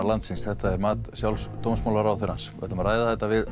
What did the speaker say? landsins þetta er mat sjálfs dómsmálaráðherrans við ætlum að ræða þetta við